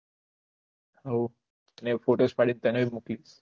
હવ અને ફોટોસ પડીસ તને મોક્લીજ